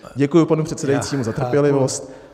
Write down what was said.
Děkuji panu předsedajícímu za trpělivost.